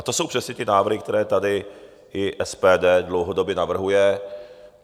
A to jsou přesně ty návrhy, které tady i SPD dlouhodobě navrhuje.